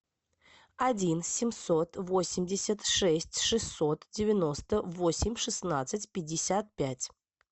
один семьсот восемьдесят шесть шестьсот девяносто восемь шестнадцать пятьдесят пять